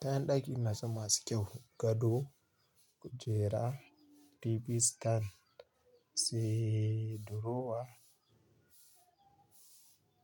Kayan ɗaki na san masu kyau gado, kujera, TV stand, sai drowa,